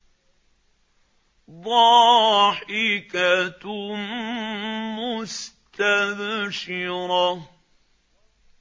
ضَاحِكَةٌ مُّسْتَبْشِرَةٌ